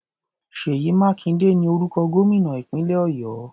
Ṣèyí Mákindé ni orúkọ gómìnà ìpínlẹ̀ Ọ̀yọ́.